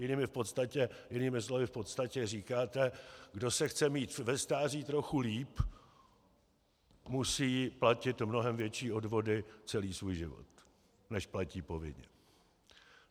Jinými slovy v podstatě říkáte: Kdo se chce mít ve stáří trochu lépe, musí platit mnohem větší odvody celý svůj život, než platí povinně.